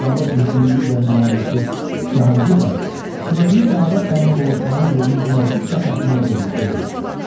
Nadanlıq mühitinin digər nümayəndəsi Cahangir bəy sevdiyi Səadət xanıma qovuşmağın yolunu günahsız Fəxrəddini öldürməkdə görür.